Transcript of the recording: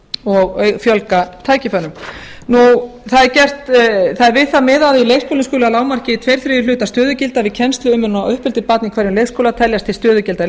og fjölga tækifærum það er við það miðað að í leikskóla skuli að lágmarki tveir þriðju hlutar stöðugilda við kennslu og umönnun á uppeldi barna í hverjum leikskóla teljast til stöðugilda leikskólakennara